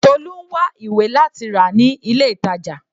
Tolu ń wá ìwé láti rà ní ilé ìtàjà.